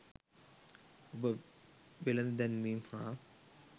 ඔබ වෙළෙඳ දැන්වීම් හා